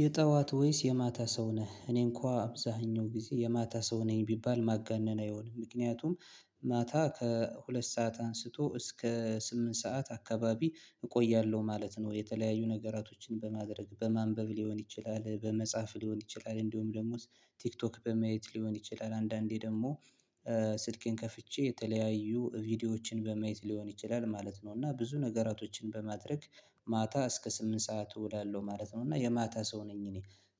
የጠዋት ወይስ የማታ ሰው ነህ እኔ እንኳን አብዛኛው ጊዜ የማታ ሰው ነኝ ቢባል ማጋነን አይሆንም። ምክንያቱም ማታ ከሁለት ሰዓት አንስቶ እስከ ስምንት ሰዓት አካባቢ እቆያለሁ ማለት ነው። የተለያዩ ነገራቶችን በማድረግ በማንበብ ሊሆን ይችላል በመጻፍ ሊሆን ይችላል። እንደውም ደሞ ቲክቶክ በማየት ሊሆን ይችላል። አንዳንዴ ደግሞ ስልኬን ከፍቼ የተለያዩ ቪዲዮዎችን በመየት ሊሆን ይችላል ማለት ነው። እና ብዙ ነገራቶችን በማድረግ ማታ እስከ ስምንት ሰዓት እሄዳለሁ ማለት ነው። እና የማታ ሰው ነኝ። እኔ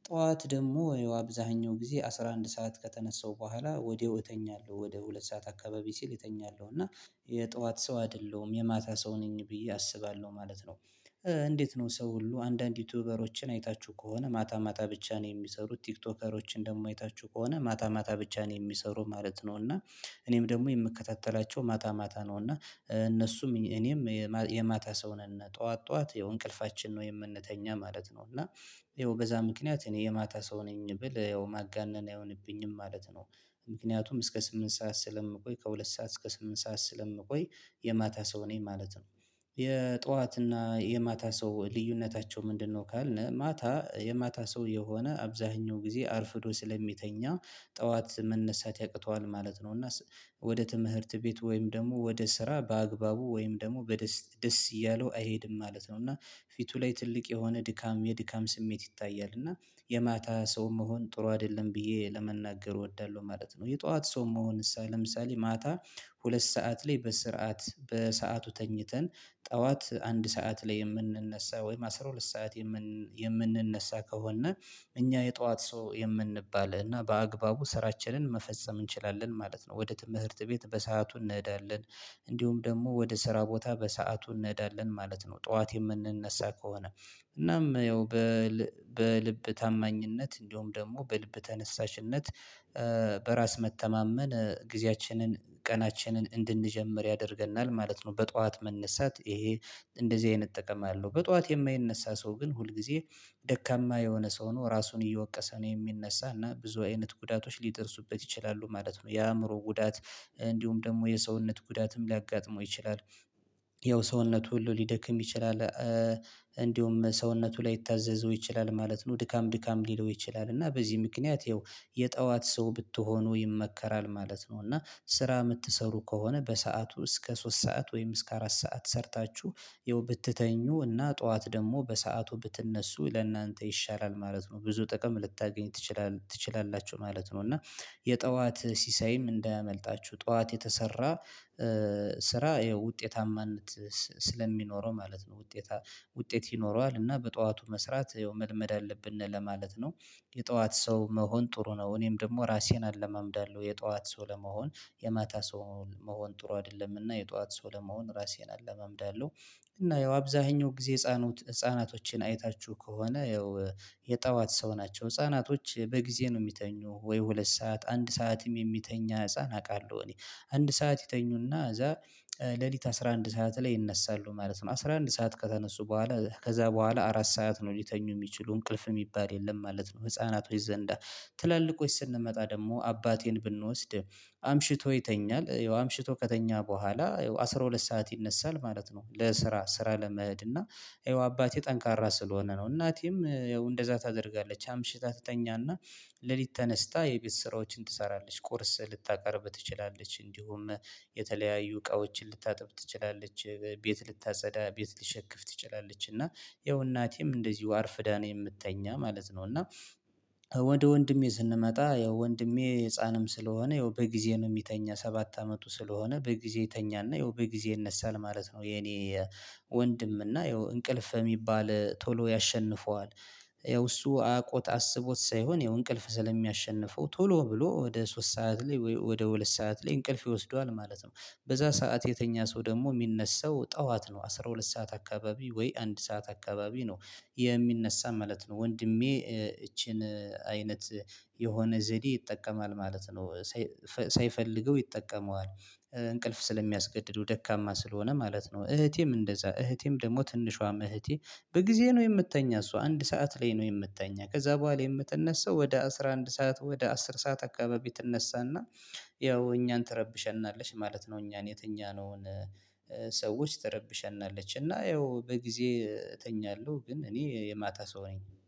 ጠዋት ደግሞ አብዛኛው ጊዜ አስራ አንድ ሰዓት ከተነሳው በኋላ ወዲያው እተኛለሁ ወደ ሁለት ሰዓት አካባቢ ሲል እተኛለሁ እና የጠዋት ሰው አይደለሁም የማታ ሰው ነኝ ብዬ አስባለሁ ማለት ነው። እንዴት? ነው ሰው ሁሉ አንዳንድ ዩቲዩበሮችን አይታችሁ ከሆነ ማታ ማታ ብቻ ነው የሚሰሩት ቲክቶከሮችን ደግሞ አይታችሁ ከሆነ ማታ ማታ ብቻ ነው የሚሰሩ ማለት ነው። እና እኔም ደግሞ የምከታተላቸው ማታ ማታ ነው። እና እነሱም እኔም የማታ ሰው ነን ጠዋት ጠዋት የእንቅልፋችን ነው የምንተኛ ማለት ነው። እና የወገዛ ምክንያት እኔ የማታ ሰው ነኝ ብል ያው ማጋነን አይሆንብኝም ማለት ነው። ምክንያቱም እስከ ስምንት ሰዓት ስለምቆይ ከሁለት ሰዓት እስከ ስምንት ሰዓት ስለምቆይ የማታ ሰው እኔ ማለት ነው። የጧትና የማታ ሰው ልዩነታቸው ምንድነው? ካልን ማታ የማታ ሰው የሆነ አብዛኛው ጊዜ አርፍዶ ስለሚተኛ ጠዋት መነሳት ያቅተዋል ማለት ነው። እና ወደ ትምህርት ቤት ወይም ደግሞ ወደ ስራ በአግባቡ ወይም ደግሞ በደስ ደስ እያለው አይሄድም ማለት ነው። እና ፊቱ ላይ ትልቅ የሆነ ድካም የድካም ስሜት ይታያል። እና የማታ ሰው መሆን ጥሩ አይደለም ብዬ ለመናገር እወዳለሁ ማለት ነው። የጧት ሰው መሆን ለምሳሌ ማታ ሁለት ሰዓት ላይ በስርዓት በሰአቱ ተኝተን ጠዋት አንድ ሰዓት ላይ የምንነሳ ወይም አስራ ሁለት ሰዓት የምንነሳ ከሆነ እኛ የጧት ሰው የምንባል እና በአግባቡ ስራችንን መፈጸም እንችላለን ማለት ነው። ወደ ትምህርት ቤት በሰአቱ እንሄዳለን እንዲሁም ደግሞ ወደ ስራ ቦታ በሰአቱ እንሄዳለን ማለት ነው። ጠዋት የምንነሳ ከሆነ እናም ያው በልብ ታማኝነት እንደውም ደግሞ በልብ ተነሳሽነት በራስ መተማመን ጊዜያችንን ቀናችንን እንድንጀምር ያደርገናል ማለት ነው። በጧት መነሳት ይሄ እንደዚህ አይነት እጠቀማለሁ በጧት የማይነሳ ሰው ግን ሁል ጊዜ ደካማ የሆነ ሰው ነው። ራሱን እየወቀሰ ነው የሚነሳና ብዙ አይነት ጉዳቶች ሊጥርሱበት ይችላሉ ማለት ነው። የአእምሮ ጉዳት እንዲሁም ደግሞ የሰውነት ጉዳትም ሊያጋጥመው ይችላል። ያው ሰውነቱ ሁሉ ሊደክም ይችላል። እንዲሁም ሰውነቱ ላይታዘዘው ይችላል ማለት ነው። ድካም ድካም ሊለው ይችላል እና በዚህ ምክንያት ይኸው የጠዋት ሰው ብትሆኑ ይመከራል ማለት ነው። እና ስራ የምትሰሩ ከሆነ በሰአቱ እስከ ሶስት ሰዓት ወይም እስከ አራት ሰዓት ሰርታችሁ ይኸው ብትተኙ እና ጠዋት ደግሞ በሰአቱ ብትነሱ ለእናንተ ይሻላል ማለት ነው። ብዙ ጥቅም ልታገኝ ትችላ ትችላላችሁ ማለት ነው። እና የጠዋት ሲሳይም እንዳያመልጣችሁ ጠዋት የተሰራ ስራ ያው ውጤታማነት ስለሚኖረው ማለት ነው። ውጤታ ውጤት ይኖረዋል እና በጠዋቱ መስራት መልመድ አለብን ለማለት ነው። የጠዋት ሰው መሆን ጥሩ ነው። እኔም ደግሞ እራሴን አለማምዳለሁ የጧት ሰው ለመሆን የማታ ሰው መሆን ጥሩ አይደለምና የጧት ሰው ለመሆን ራሴን አለመምደዋለሁ። እና ያው አብዛኛው ጊዜ እፃኖት ህፃናቶችን አይታችሁ ከሆነ ያው የጠዋት ሰው ናቸው። ህፃናቶች በጊዜ ነው የሚተኙት ወይ ሁለት ሰዓት አንድ ሰዓትም የሚተኛ ህፃን አውቃለሁ እኔ አንድ ሰዓት ይተኙና እዛ ሌሊት አስራ አንድ ሰዓት ላይ ይነሳሉ ማለት ነው። አስራ አንድ ሰዓት ከተነሱ በኋላ ከዛ በኋላ አራት ሰዓት ነው ሊተኙ የሚችሉ እንቅልፍ የሚባል የለም ማለት ነው። ህፃናቶች ዘንዳ ትላልቆች ስንመጣ ደግሞ አባቴን ብንወስድ አምሽቶ ይተኛል ያው አምሽቶ ከተኛ በኋላ አስራ ሁለት ሰዓት ይነሳል ማለት ነው። ለስራ ስራ ለመሄድ እና ይኸው አባቴ ጠንካራ ስለሆነ ነው። እናቴም እንደዛ ታደርጋለች አምሽታ ትተኛና ሌሊት ተነስታ የቤት ስራዎችን ትሰራለች ቁርስ ልታቀርብ ትችላለች። እንዲሁም የተለያዩ እቃዎችን ልታጥብ ትችላለች። ቤት ልታጸዳ ቤት ልትሸክፍ ትችላለች። እና ይኸው እናቴም እንደዚሁ አርፍዳ ነው የምትተኛ ማለት ነው። እና ወደ ወንድሜ ስንመጣ ያው ወንድሜ ህፃንም ስለሆነ ይኸው በጊዜ ነው የሚተኛ ሰባት አመቱ ስለሆነ በጊዜ ይተኛና ይኸው በጊዜ ይነሳል ማለት ነው። የኔ ወንድም እና ይኸው እንቅልፍ የሚባል ቶሎ ያሸንፈዋል። ያው እሱ አውቆት አስቦት ሳይሆን ያው እንቅልፍ ስለሚያሸንፈው ቶሎ ብሎ ወደ ሶስት ሰዓት ላይ ወደ ሁለት ሰዓት ላይ እንቅልፍ ይወስደዋል ማለት ነው። በዛ ሰዓት የተኛ ሰው ደግሞ የሚነሳው ጠዋት ነው። አስራ ሁለት ሰዓት አካባቢ ወይ አንድ ሰዓት አካባቢ ነው የሚነሳ ማለት ነው። ወንድሜ እቺን አይነት የሆነ ዘዴ ይጠቀማል ማለት ነው። ሳይፈልገው ይጠቀመዋል። እንቅልፍ ስለሚያስገድዱ ደካማ ስለሆነ ማለት ነው። እህቴም እንደዛ እህቴም ደግሞ ትንሿም እህቴ በጊዜ ነው የምትተኛ። እሷ አንድ ሰዓት ላይ ነው የምትተኛ ከዛ በኋላ የምትነሳው ወደ አስራ አንድ ሰዓት ወደ አስር ሰዓት አካባቢ ትነሳና ያው እኛን ትረብሸናለሽ ማለት ነው። እኛን የተኛነውን ሰዎች ትረብሸናለች እና ያው በጊዜ እተኛለሁ ግን እኔ የማታ ሰው ነኝ